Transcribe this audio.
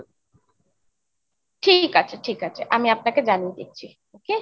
ঠিক আছে ঠিক আছে, আমি আপনাকে জানিয়ে দিচ্ছি okay ?